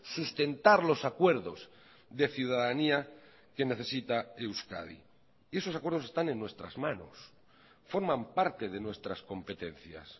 sustentar los acuerdos de ciudadanía que necesita euskadi y esos acuerdos están en nuestras manos forman parte de nuestras competencias